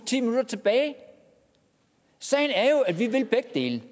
ti minutter tilbage sagen er jo at vi vil begge dele